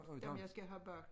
Dem jeg skal have bagt